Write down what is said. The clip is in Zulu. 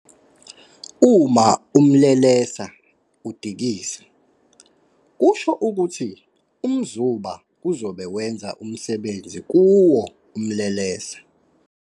Uma umlelesa udikiza, kusho ukuthi umzuba uzobe wenza umsebenzi kuwo umlelesa.